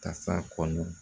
Tasa kɔnɔ